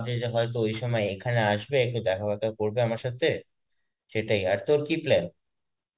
যে হয়তো ওই সময় এখানে আসবে এসে দেখা ফেকা করবে আমার সাথে, সেটাই. আর তোর কি plan?